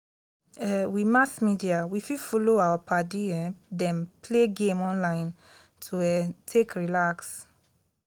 um with mass media we fit follow our padi um them play game online to um take relax